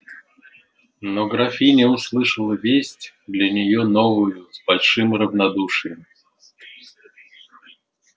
но графиня услышала весть для нее новую с большим равнодушием